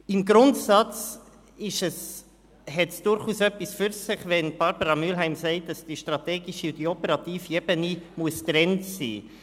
Im Grundsatz hat es durchaus etwas für sich, wenn Grossrätin Mühlheim sagt, dass die strategische und die operative Ebene getrennt sein müssten.